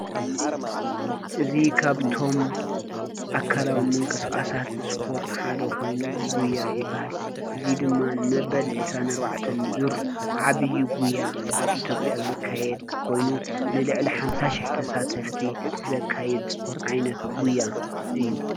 አዚ ካብቶሞ ኣካላዊ ምንቀስቃሳት ስፓርት ሓደ ኮይኑ ጉያ ይበሃል። እዚ ድማ መበል ዒስራን ኣርባዕተን ዙር ዓቢይ ጉያ ኣብ ኢትዬጵያ ዝካይደ ኮይኑ ንልዕሊ ሓምሳ ሽሕ ተሳተፍቲ ዘካይዲ ዓይነት ጉያ እዩ::